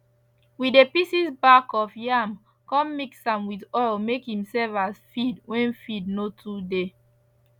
we dey pieces bark of yam con mix am with oil make im serve as feed wen feed no too dey